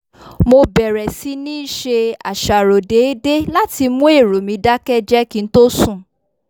mo bẹ̀rẹ̀ sí níí ṣe àṣàrò déédéé láti mú èrò mi dákẹ́jẹ́ kí n tó sùn